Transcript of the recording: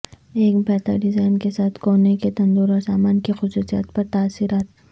ایک بہتر ڈیزائن کے ساتھ کونے کے تندور اور سامان کی خصوصیات پر تاثرات